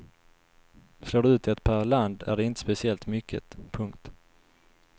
Slår du ut det per land är det inte speciellt mycket. punkt